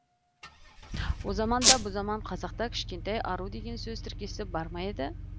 о заман да бұ заман қазақта кішкентай ару деген сөз тіркесі бар ма еді